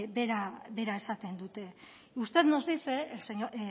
bera esaten dute usted nos dice